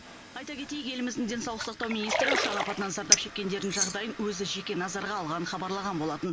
айта кетейік еліміздің денсаулық сақтау министрі ұшақ апатынан зардап шеккендердің жағдайын өзі жеке назарға алғанын хабарлаған болатын